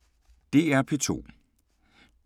DR P2